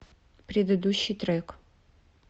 предыдущий трек